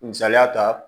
Misaliya ta